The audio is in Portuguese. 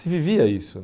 Se vivia isso.